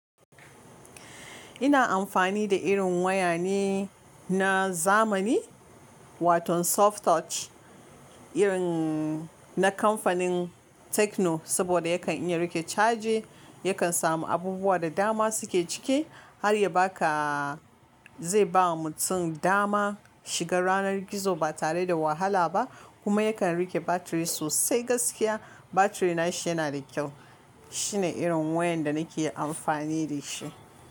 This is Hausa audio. Ina amfani da irin waya ne na zamani, waton soft touch irin na kamfanin Tecno, saboda yakan iya riƙe caji, yakan samu abubuwa da dama suke ciki har ya baka zai bawa mutum dama, shiga ranar gizo ba tare da wahala ba, kuma yakan rike batiri sosai gaskiya, batiri nashi yana da kyau. Shine irin wayan da nake amfani da shi.